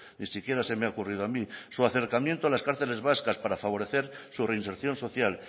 ni siquiera se me ha ocurrido a mí su acercamiento a las cárceles vascas para favorecer su reinserción social